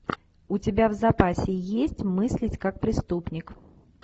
у тебя в запасе есть мыслить как преступник